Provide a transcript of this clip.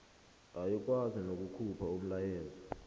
ayikwazi nokukhupha umlayo